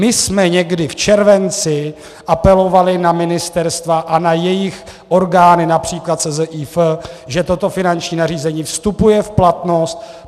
My jsme někdy v červenci apelovali na ministerstva a na jejich orgány, například SZIF, že toto finanční nařízení vstupuje v platnost.